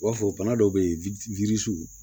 U b'a fɔ bana dɔw bɛ yen yiri sugu